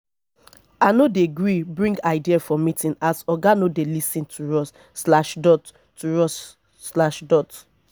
i no dey gree bring ideas for meeting as oga no dey lis ten to us slash dot to us slash dot